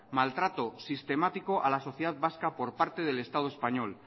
maltrato sistemático a la sociedad vasca por parte del estado español